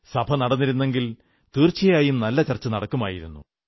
സഭ നടന്നിരുന്നെങ്കിൽ തീർച്ചയായും നല്ല ചർച്ച നടക്കൂമായിരുന്നു